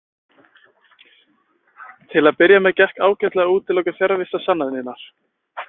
Til að byrja með gekk ágætlega að útiloka fjarvistarsannanir.